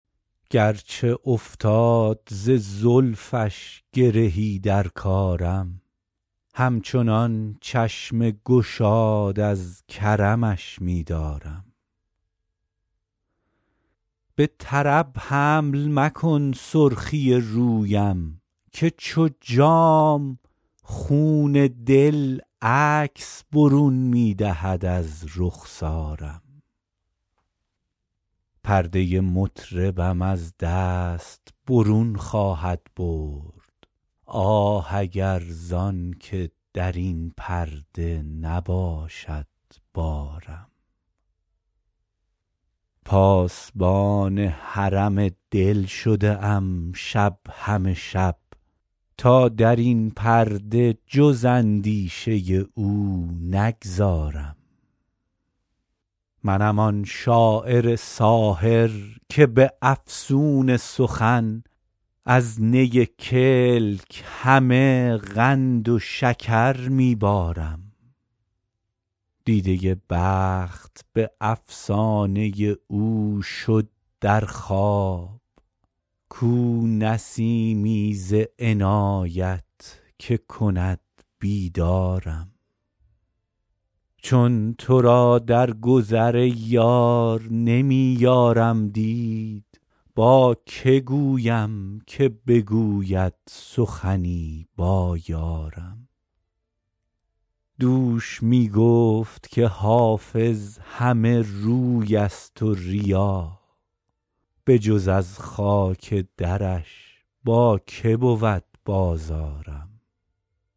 گرچه افتاد ز زلفش گرهی در کارم همچنان چشم گشاد از کرمش می دارم به طرب حمل مکن سرخی رویم که چو جام خون دل عکس برون می دهد از رخسارم پرده مطربم از دست برون خواهد برد آه اگر زان که در این پرده نباشد بارم پاسبان حرم دل شده ام شب همه شب تا در این پرده جز اندیشه او نگذارم منم آن شاعر ساحر که به افسون سخن از نی کلک همه قند و شکر می بارم دیده بخت به افسانه او شد در خواب کو نسیمی ز عنایت که کند بیدارم چون تو را در گذر ای یار نمی یارم دید با که گویم که بگوید سخنی با یارم دوش می گفت که حافظ همه روی است و ریا بجز از خاک درش با که بود بازارم